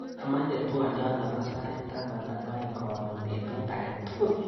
Amache twaliot nebo sait taman ak aeng karon betut aketukul.